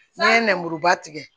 N'an ye nɛmuruba tigɛ